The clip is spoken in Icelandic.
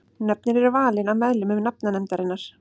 Nöfnin eru valin af meðlimum nafnanefndarinnar.